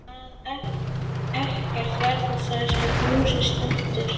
Að ekkert verði þar sem húsið stendur.